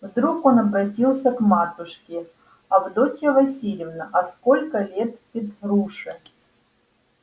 вдруг он обратился к матушке авдотья васильевна а сколько лет петруше